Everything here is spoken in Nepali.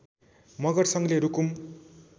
मगर सङ्घले रुकुम